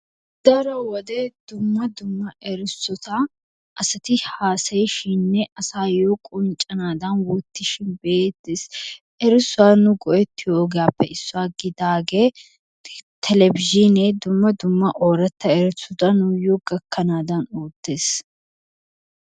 Daro wode dumma dumma erissota asati haasayishininne asaayoo qonccanaadan oottishin be'eettes. Erissuwaa nu go"ettiyoogaappe issuwa gidaagee telebizhzhiinee dumma dumma ooratta erissota nuyyo gakkanaadan oottees.